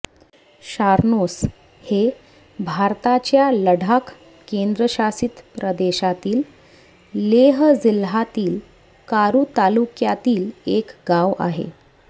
शारनोस हे भारताच्या लडाख केंद्रशासित प्रदेशातील लेह जिल्हातील कारु तालुक्यातील एक गाव आहे